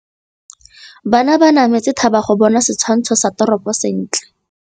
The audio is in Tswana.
Banna ba nametse thaba go bona setshwantsho sa toropô sentle.